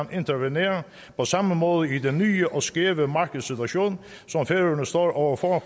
kan intervenere på samme måde i den nye og skæve markedssituation som færøerne står over for